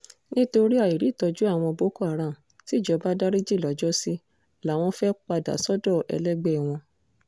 nítorí àìrí ìtọ́jú àwọn boko haram tijọba dariji lọ́jọ́sí làwọn fee padà sọ́dọ̀ ẹlẹgbẹ́ wọn